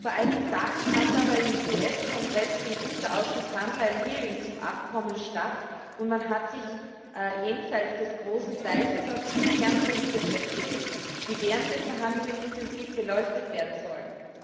Vor einigen Tagen fand aber im US Kongress im Unterausschuss Handel eine Anhörung zum Abkommen statt, und man hat sich jenseits des großen Teiches auf fünf Kernpunkte festgelegt, die während der Verhandlungen intensiv beleuchtet werden sollen.